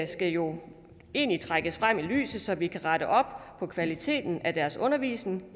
jo egentlig trækkes frem i lyset så vi kan rette op på kvaliteten af deres undervisning